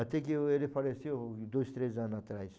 Até que ele faleceu dois, três anos atrás.